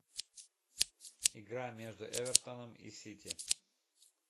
игра между эвертоном и сити